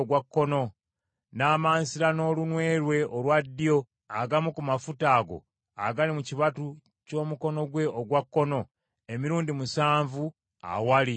n’amansira n’olunwe lwe olwa ddyo agamu ku mafuta ago agali mu kibatu ky’omukono gwe ogwa kkono, emirundi musanvu awali Mukama .